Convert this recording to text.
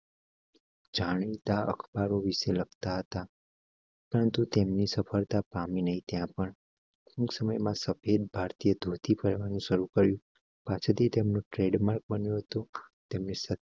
જાણીતા અખબારો વિશે લગતા થા. પરંતુ તેમની સફળતા પામી નહીં. ત્યાં પણ સમય માં સફેદ ભારતીય તૂટી પડવા નું શરૂ કર્યું. પાસેથી તેમની ટ્રેડમાર્ક બન્યો તો તમે સત્યા